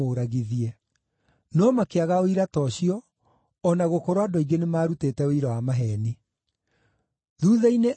No makĩaga ũira ta ũcio, o na gũkorwo andũ aingĩ nĩmarutĩte ũira wa maheeni. Thuutha-inĩ andũ eerĩ makĩrũgama,